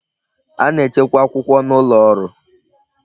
A na-echekwa akwụkwọ n'ụlọ ọrụ